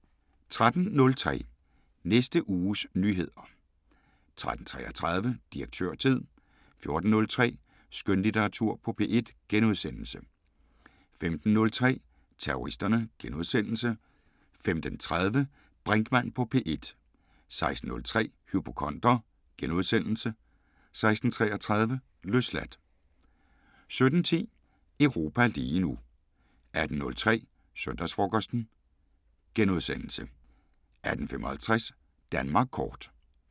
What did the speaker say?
13:03: Næste uges nyheder 13:33: Direktørtid 14:03: Skønlitteratur på P1 * 15:03: Terroristerne * 15:30: Brinkmann på P1 * 16:03: Hypokonder * 16:33: Løsladt 17:10: Europa lige nu 18:03: Søndagsfrokosten * 18:55: Danmark kort